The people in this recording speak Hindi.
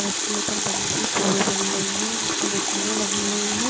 उसके ऊपर बड़ी सी टोल बनी हुई है इस पर मशीनें लगी हुई है।